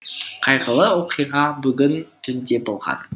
қайғылы оқиға бүгін түнде болған